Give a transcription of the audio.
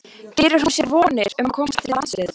Gerir hún sér vonir um að komast aftur í landsliðið?